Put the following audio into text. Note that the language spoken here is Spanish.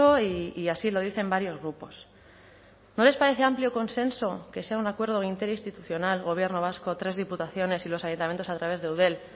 y así lo dicen varios grupos no les parece amplio consenso que sea un acuerdo interinstitucional gobierno vasco tres diputaciones y los ayuntamientos a través de eudel